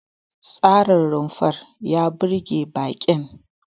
Tsarin rumfar ya burge baƙin.